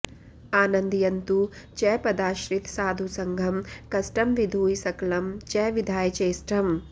आनन्दयन्तु च पदाश्रितसाधुसङ्घं कष्टं विधूय सकलं च विधाय चेष्टम्